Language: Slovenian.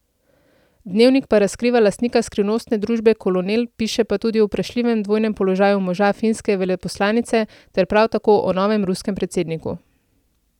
Dnevnik pa razkriva lastnika skrivnostne družbe Kolonel, piše pa tudi o vprašljivem dvojnem položaju moža finske veleposlanice ter prav tako o novem ruskem predsedniku.